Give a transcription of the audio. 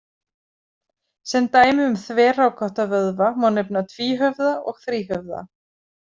Sem dæmi um þverrákótta vöðva má nefna tvíhöfða og þríhöfða.